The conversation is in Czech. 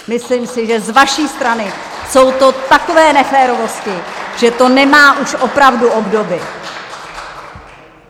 Myslím si, že z vaší strany jsou to takové neférovosti, že to nemá už opravdu obdoby.